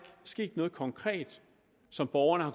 sket noget konkret som borgerne har